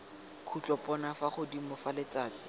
khutlopono fa godimo fa letsatsi